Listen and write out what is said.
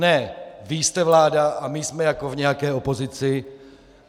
Ne vy jste vláda a my jsme jako v nějaké opozici!